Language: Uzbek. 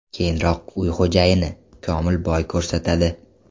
Keyinroq uy xo‘jayini – Komil bo‘y ko‘rsatadi.